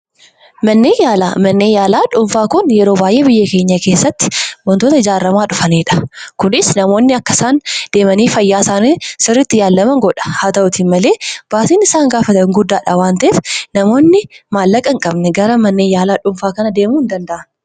Manneen yaala dhuunfaa biyya keenya keessatti baay'inaan beekkamaa kan dhufanidha. Namoonni akka isaan deemanii fayyaa isaanii ilaallaman sirritti godha. Haa ta'u malee gatiin manneen yaala dhuunfaa kun baay'ee guddaadha waan ta'eef akka namoon baay'inaan hin fayyadamne godha.